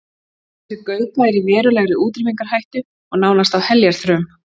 Þessi gaupa er í verulegri útrýmingarhættu og nánast á heljarþröm.